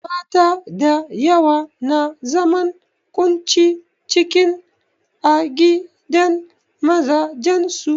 Mata da yawa na zaman ƙunci ciki a gidan mazajen su.